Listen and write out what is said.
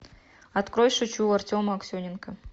открой шучу артема аксененко